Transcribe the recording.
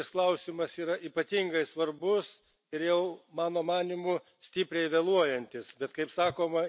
Iš tikrųjų, šis klausimas yra ypatingai svarbus ir jau, mano manymu, stipriai vėluojantis.